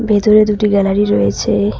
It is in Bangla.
ভেতরে দুটি গ্যালারি রয়েছে।